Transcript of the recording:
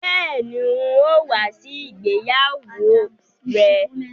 Bẹ́ẹ̀ni, n ó wá sí ìgbéyàwó rẹ